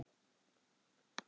Áhrif og aðgerðir.